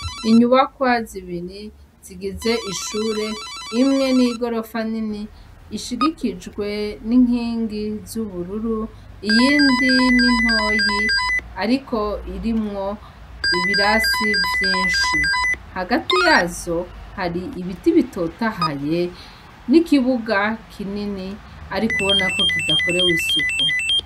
Inyubakwa zibiri zigize ishure rimwe nigorofa nini rishigikijwe n'inkingi zubururu iyindi nintoyi ariko irimwo ibirasi vyinshi, hagati yazo hari ibiti bitotahaye n'ikibuga kinini ariko ubanako kidakorewe isuku.